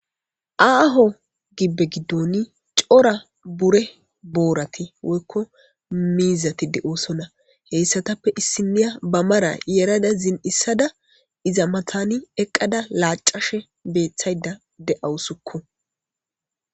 aaho gibbe giddoni cora bure boorati woykko miizatide oosonna heyssatappe issiniya ba mara yerada zin7issada iza matani eqqada laacashe beethtshayda de7awusukko